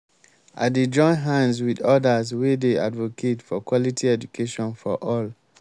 i dey join hands wit odas wey dey advocate for quality education for all.